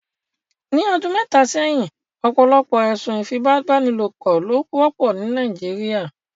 Ni ọdun mẹta sẹhin, ọpọlọpọ ẹsun ifipabanilopo lo wọpọ ni Nàìjíríà